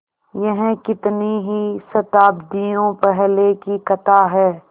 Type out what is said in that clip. यह कितनी ही शताब्दियों पहले की कथा है